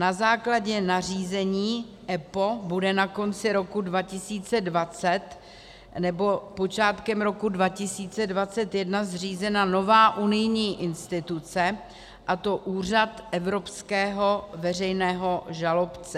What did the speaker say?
Na základě nařízení EPPO bude na konci roku 2020 nebo počátkem roku 2021 zřízena nová unijní instituce, a to Úřad evropského veřejného žalobce.